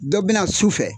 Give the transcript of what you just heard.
Dɔ bɛna su fɛ